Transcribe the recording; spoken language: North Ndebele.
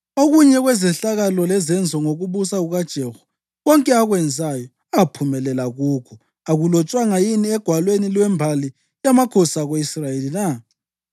Okunye kwezehlakalo lezenzo ngokubusa kukaJehu, konke akwenzayo, aphumelela kukho, akulotshwanga yini egwalweni lwembali yamakhosi ako-Israyeli na?